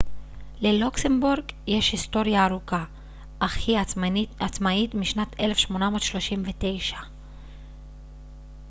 ללוקסמבורג יש היסטוריה ארוכה אך היא עצמאית משנת 1839